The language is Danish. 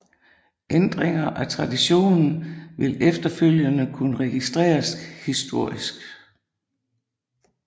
Ændringer af traditionen vil efterfølgende kunne registreres historisk